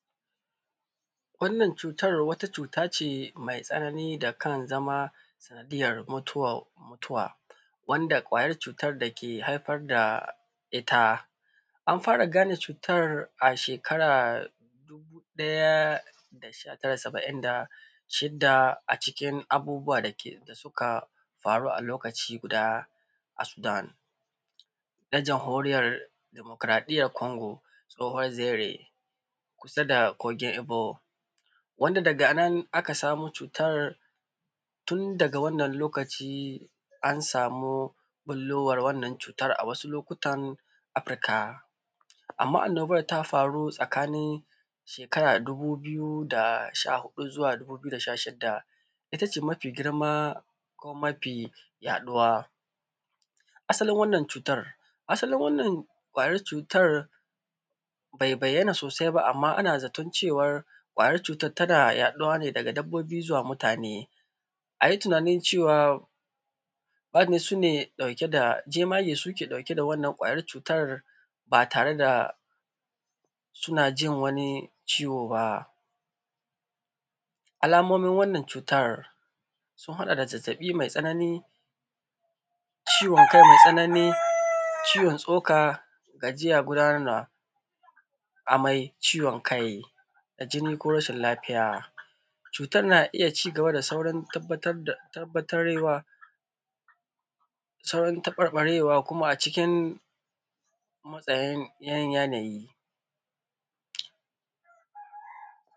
Wannan cutar wata cuta ce mai tsanani da kan zama sanadiyar mutu mutuwa, wanda ƙwayar cutar da ke haifar da ita. An fara gane cutar a shkara dubu ɗaya da saba’in da sidda a cikin abubuwa da suka faru a lokaci guda a Sudan, na jamhorin yar demokaraɗiyar Kongo tsoho zere. kusa da kogin ebo. Wanda daga nan aka samo cutar, tun daga wannan lokaci, an sami ɓullowar wannan cutar a wasu lokutan Afrika. Amma anobar ta faru tsakanin shekara dubu biyu da sha huɗu zuwa dubu biyu da sha shidda. Ita ce mafi girma kuma mafi yaɗuwa. Asalin wannan cutar, asalin wannan ƙwayar cutar, bai bayyana sosai ba amma ana zaton cewar ƙwayar cutar tana yaɗuwa ne daga dabbobi zuwa mutane. A yi tunanin cewa. Bad su ne jemage su ne ke ɗauke da ƙwayar wannan cutar, ba tare da suna jin wani ciwo ba. Alamomin wannan cutar, sun haɗa da zazzaɓi mai tsanani, ciwon kai mai tsanani, ciwon tsoka gajiya gudanar da, amai ciwon kai, da jini ko rashin lafiya. Cutar na iya saurin tabbatar da tabarewa, saurin taɓarɓarewa a cikkin, tsayeyyan yanayi.